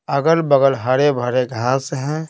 अगल-बगल हरे भरे घास हैं।